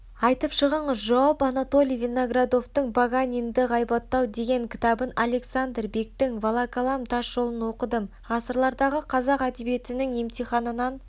айтып шығыңыз жауап анатолий виноградовтың паганинді ғайбаттау деген кітабын александр бектің волоколам тасжолыноқыдым ғасырлардағы қазақ әдебиетінің емтиханынан